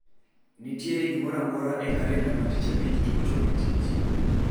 Nitiere gimoro amora e kalenda mar btich abich tok chopo e tich